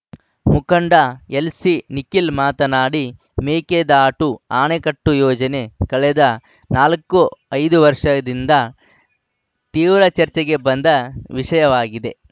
ಮುಖಂಡ ಎಲ್‌ಸಿನಿಖಿಲ್‌ ಮಾತನಾಡಿ ಮೇಕೆದಾಟು ಅಣೆಕಟ್ಟು ಯೋಜನೆ ಕಳೆದ ನಾಲ್ಕು ಐದು ವರ್ಷದಿಂದ ತೀವ್ರ ಚರ್ಚೆಗೆ ಬಂದ ವಿಷಯವಾಗಿದೆ